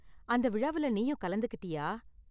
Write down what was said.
அந்த விழாவில நீயும் கலந்துக்கிட்டியா?